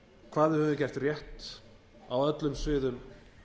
hvað við höfum gert rétt á öllum sviðum